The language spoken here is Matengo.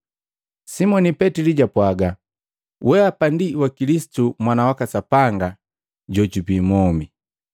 Simoni Petili jwapwaga, “Weapa ndi wa Kilisitu Mwana waka Sapanga jojubi mwomi.”